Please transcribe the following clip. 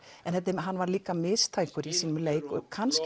hann var líka mistækur í sínum leik kannski